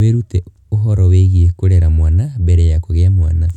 Wĩrute ũhoro wĩgiĩ kũrera mwana mbere ya kũgĩa mwana.